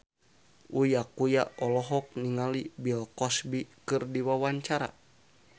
Uya Kuya olohok ningali Bill Cosby keur diwawancara